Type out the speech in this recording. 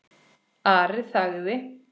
Ari þagði.